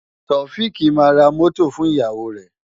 Taofiq máa ra mọ́tò fún ìyàwó rẹ̀.